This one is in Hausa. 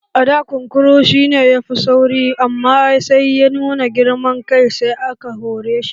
A da kunkuru shi ne dabban da yafi sauri amma sai ya nuna girman kai sai aka hore shi